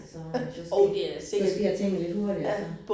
Så så sker så sker tingene lidt hurtigere så